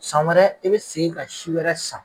San wɛrɛ e be segin ka si wɛrɛ san